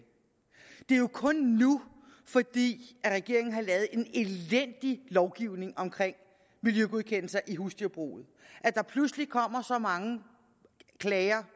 det er jo kun nu fordi regeringen har lavet en elendig lovgivning omkring miljøgodkendelser i husdyrbruget at der pludselig kommer så mange klager